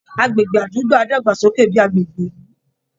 Agbègbè àdúgbò á dàgbàsókè bí i agbègbè ìlú